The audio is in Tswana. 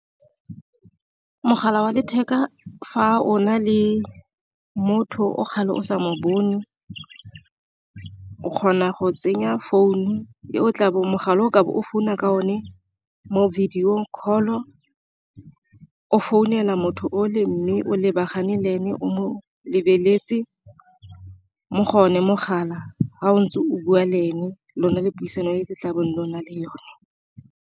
Mogala wa letheka fa o na le motho o kgale o sa mo bone o kgona go tsenya founu, mogala o tlabe o founa ka one mo video call o founela motho o le mme o lebagane le ene o mo lebeletse mo go one mogala fa o ntse o bua le ene, lona le puisano e le tlabeng le na le yone.